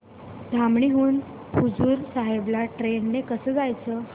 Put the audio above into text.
धामणी हून हुजूर साहेब ला ट्रेन ने कसं जायचं